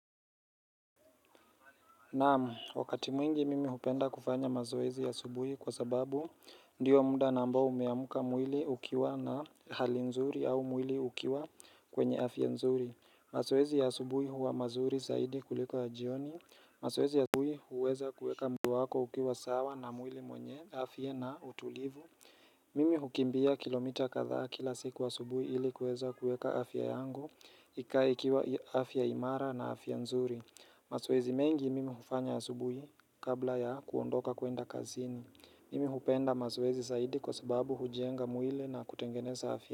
Naam, wakati mwingi mimi hupenda kufanya mazoezi ya asubuhi kwa sababu ndiyo muda namba umeamuka mwili ukiwa na hali nzuri au mwili ukiwa kwenye afya nzuri. Mazoezi ya asubuhi huwa mazuri zaidi kuliko ya jioni. Mazoezi ya asubuhi huweza kuweka mwili wako ukiwa sawa na mwili mwenye afya na utulivu. Mimi hukimbia kilomita kadhaa kila siku asubuhi ili kuweza kueka afya yangu ikae ikiwa afya imara na afya nzuri. Mazoezi mengi mimi hufanya asubuhi, kabla ya kuondoka kuenda kazini. Mimi hupenda mazoezi zaidi kwa sababu hujenga mwili na kutengeneza afya.